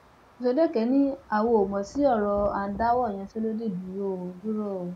ọsọdẹkẹ ni àwa ò mọ sí ọrọ à ń dáwọ ìyanṣẹlódì dúró o dúró o